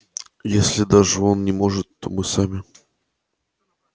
если даже он не может то мы сами